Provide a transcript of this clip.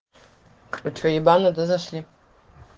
а что ебануто зашли